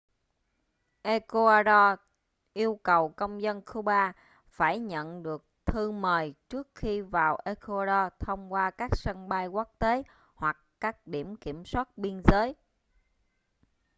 ecuador yêu cầu công dân cuba phải nhận được thư mời trước khi vào ecuador thông qua các sân bay quốc tế hoặc các điểm kiểm soát biên giới